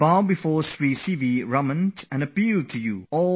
Raman and I appeal to you all to raise the level of your interest in science